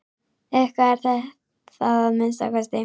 Eitthvað er það að minnsta kosti.